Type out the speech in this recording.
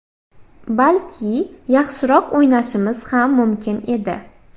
Balki yaxshiroq o‘ynashimiz ham mumkin edi.